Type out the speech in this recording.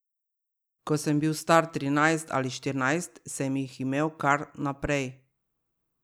Ko sem bil star trinajst ali štirinajst, sem jih imel kar naprej.